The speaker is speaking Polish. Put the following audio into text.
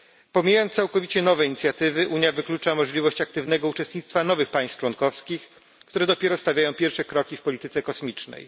Pomijając całkowicie nowe inicjatywy, Unia wyklucza możliwość aktywnego uczestnictwa nowych państw członkowskich, które dopiero stawiają pierwsze kroki w polityce kosmicznej.